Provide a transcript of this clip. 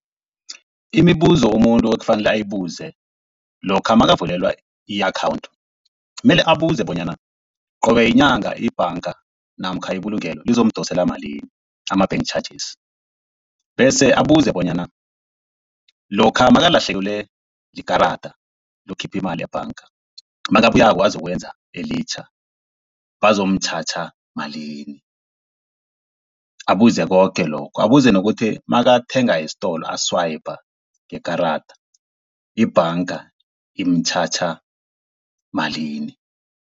Imibuzo umuntu ekufanele ayibuze lokha nakavulelwa i-akhawunthu mele abuze bonyana qobe yinyanga ibhanga namkha ibulungelo lizomdosela malini ama-bank charges, bese abuze bonyana lokha nakalahlekelwe likarada lokukhipha imali ebhanka nakabuyako azokwenza elitjha bazomutjhatjha malini. Abuze koke lokho, abuze nokuthi nakathenga estolo a-swiper ngekarada ibhanga imutjhatjha malini.